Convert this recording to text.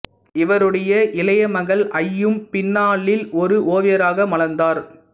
இவருடைய இளைய மகள் அய்யும் பின்னாளில் ஒரு ஓவியராக மலர்ந்தார்